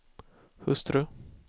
hustru